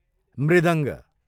मृदङ्ग